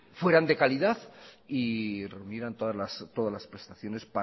fueran de calidad y reunieran todas las prestaciones